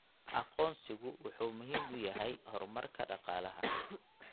Aqoonsigu wuxuu muhiim u yahay horumarka dhaqaalaha.